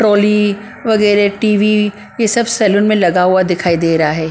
Trolley वगैरह TV ये सब सैलून में लगा हुआ दिखाई दे रहा है ।